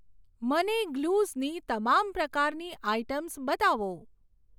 મને ગ્લુઝની તમામ પ્રકારની આઇટમ્સ બતાવો.